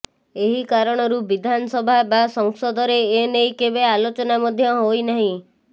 ଏହି କାରଣରୁ ବିଧାନସଭା ବା ସଂସଦରେ ଏ ନେଇ କେବେ ଆଲୋଚନା ମଧ୍ୟ ହୋଇନାହିଁ